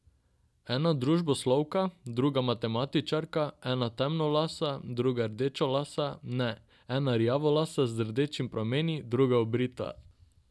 Ena družboslovka, druga matematičarka, ena temnolasa, druga rdečelasa, ne, ena rjavolasa z rdečimi prameni, druga obrita.